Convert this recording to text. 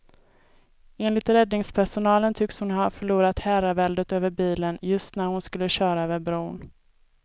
Enligt räddningspersonalen tycks hon ha förlorat herraväldet över bilen just när hon skulle köra över bron.